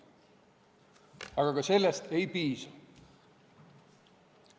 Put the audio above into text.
Aga ka sellest ei piisa.